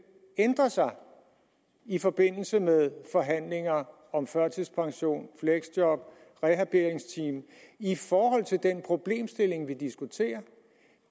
ændre sig i forbindelse med forhandlinger om førtidspension fleksjob og rehabiliteringsteam i forhold til den problemstilling vi diskuterer